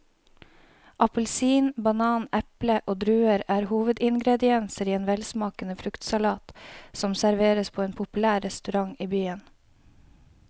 Appelsin, banan, eple og druer er hovedingredienser i en velsmakende fruktsalat som serveres på en populær restaurant i byen.